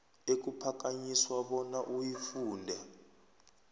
ekuphakanyiswa bona uyifunde